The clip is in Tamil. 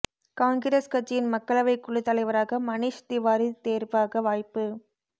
காங்கிரஸ் கட்சியின் மக்களவை குழு தலைவராக மணீஷ் திவாரி தேர்வாக வாய்ப்பு